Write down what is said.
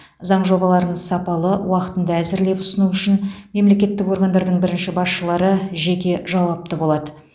заң жобаларын сапалы уақытында әзірлеп ұсыну үшін мемлекеттік органдардың бірінші басшылары жеке жауапты болады